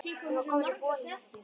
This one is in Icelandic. Hún var komin í bolinn aftur.